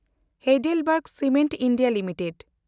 Heidelberg cement India limited